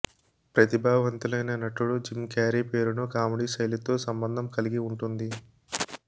ప్రతిభావంతులైన నటుడు Jim Carrey పేరును కామెడీ శైలితో సంబంధం కలిగి ఉంటుంది